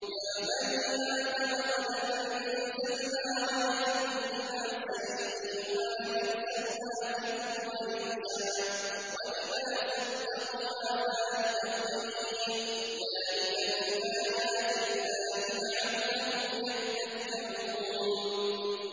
يَا بَنِي آدَمَ قَدْ أَنزَلْنَا عَلَيْكُمْ لِبَاسًا يُوَارِي سَوْآتِكُمْ وَرِيشًا ۖ وَلِبَاسُ التَّقْوَىٰ ذَٰلِكَ خَيْرٌ ۚ ذَٰلِكَ مِنْ آيَاتِ اللَّهِ لَعَلَّهُمْ يَذَّكَّرُونَ